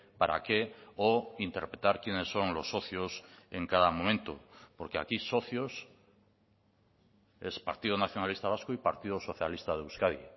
para qué o interpretar quiénes son los socios en cada momento porque aquí socios es partido nacionalista vasco y partido socialista de euskadi